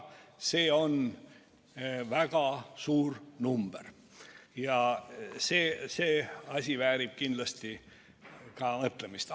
See on väga suur number ja see asi väärib kindlasti mõtlemist.